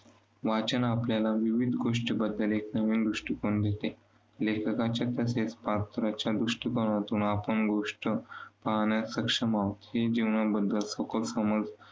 वाचन आपल्याला विविध गोष्टींबद्दल एक नवीन दृष्टिकोन देते. लेखकांच्या कथेत पात्रांच्या दृष्टिकोनातून आपण गोष्ट पाहाण्यास सक्षम आहोत, ही जीवनाबद्दल सुखद समज